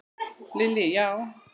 Lillý: Já?